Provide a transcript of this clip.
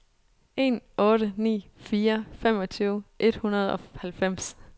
en otte ni fire femogtyve et hundrede og halvfems